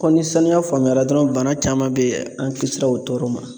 ni sanuya faamuyara dɔrɔnw, bana caman bɛ yen, an kisira o tɔɔrɔ ma.